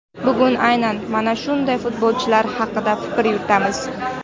Bugun aynan mana shunday futbolchilar haqida fikr yuritamiz.